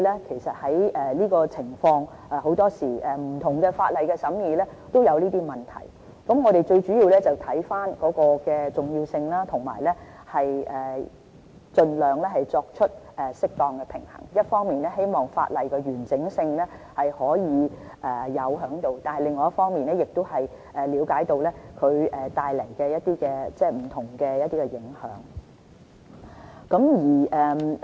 其實這種情況，往往在審議不同法例時都會出現，我們最主要視乎問題的重要性，盡量作出適當平衡：一方面，希望保持法例的完整性，另一方面，亦了解到它們帶來的不同影響。